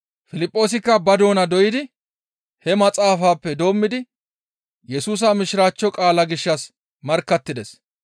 Piliphoosikka ba doona doydi he maxaafappe doommidi Yesusa Mishiraachcho qaala gishshas markkattides.